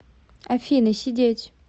афина сидеть